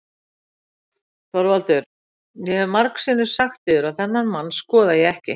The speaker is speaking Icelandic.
ÞORVALDUR: Ég hef margsinnis sagt yður að þennan mann skoða ég ekki.